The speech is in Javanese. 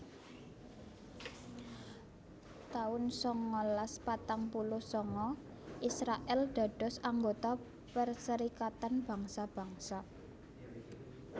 taun sangalas patang puluh sanga Israèl dados anggota Perserikatan Bangsa Bangsa